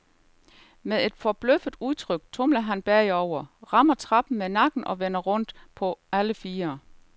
Med et forbløffet udtryk tumler han bagover, rammer trappen med nakken og vender rundt på på alle fire.